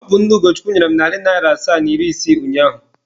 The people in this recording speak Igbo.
Ọ bụ nne Ugochukwu nyere m narị naịra asaa na iri isii ụnyaahụ.